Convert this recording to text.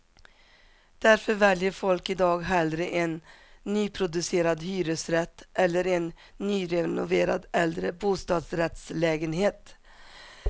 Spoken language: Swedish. Därför väljer folk i dag hellre en nyproducerad hyresrätt eller en nyrenoverad äldre bostadsrättslägehet.